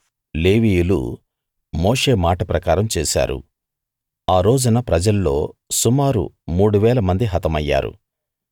లేవీయులు మోషే మాట ప్రకారం చేసారు ఆ రోజున ప్రజల్లో సుమారు మూడు వేల మంది హతమయ్యారు